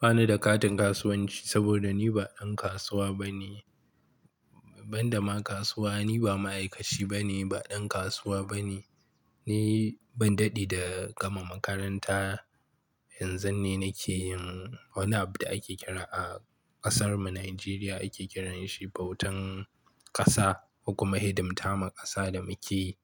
Ba ni da katin kasuwanci saboda ni ba ɗan kasuwa bane. Ban da ma kasuwa, ni ba ma'aikaci bane, ba ɗan kasuwa bane. Ni ban daɗe da gama makaranta, yanzun ne nake yin wani abu da ake kira a ƙasar mu Najeriya ake kiranshi bautan ƙasa kuma hidimta ma ƙasa da muke.